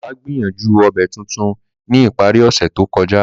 Baba gbìyànjú obẹ̀ tuntun ni ìparí ọ̀sẹ̀ to kọja.